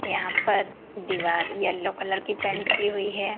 यहां पर दीवार येलो कलर की पेंट की हुई है।